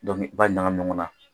i b'a ɲagami ɲɔgɔnna.